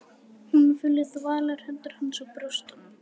Hún finnur þvalar hendur hans á brjóstunum.